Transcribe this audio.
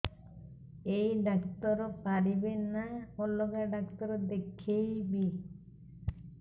ଏଇ ଡ଼ାକ୍ତର ପାରିବେ ନା ଅଲଗା ଡ଼ାକ୍ତର ଦେଖେଇବି